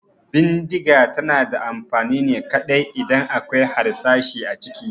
Bindiga tana da amfani ne kaɗai idan akwai harsashi a ciki